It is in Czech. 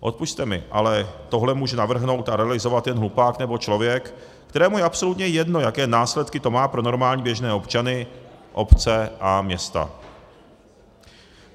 Odpusťte mi, ale tohle může navrhnout a realizovat jen hlupák nebo člověk, kterému je absolutně jedno, jaké následky to má pro normální běžné občany, obce a města.